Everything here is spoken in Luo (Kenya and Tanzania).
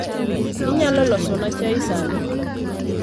Inyalo losona chai sani.